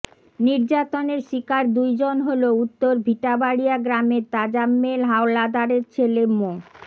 নির্যাতনের শিকার দুইজন হলো উত্তর ভিটাবাড়িয়া গ্রামের তাজাম্মেল হাওলাদারের ছেলে মো